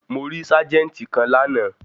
Mo rí ságẹ́ńtì kan lánàá.